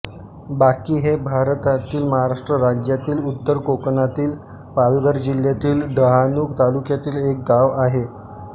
वाकी हे भारतातील महाराष्ट्र राज्यातील उत्तर कोकणातील पालघर जिल्ह्यातील डहाणू तालुक्यातील एक गाव आहे